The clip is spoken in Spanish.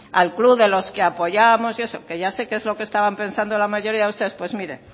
al club de los que apoyamos y eso que ya sé que es lo que estaban pensando la mayoría de ustedes pues mire